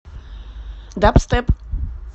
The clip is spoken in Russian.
дабстеп